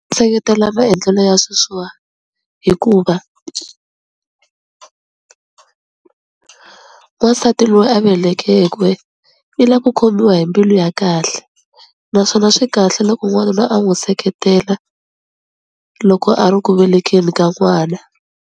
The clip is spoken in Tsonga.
Seketela maendlelo ya sweswiwa hikuva n'wansati loyi a velekeke i la ku khomiwa hi mbilu ya kahle naswona swi kahle loko n'wanuna a n'wu seketela loko a ri ku velekeni ka n'wana.